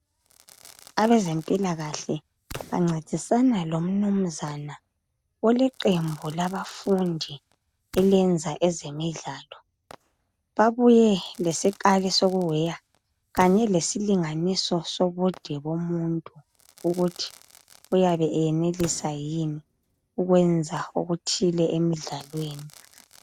Abezempilakahle bancedisana lomnumzana oleqembu labafundi elenza ezemidlalo. Babuye lesikali sokuweya kanye lesilinganiso sobude bomuntu ukuthi uyabe eyenelisa yini ukwenza okuthile emidlalweni.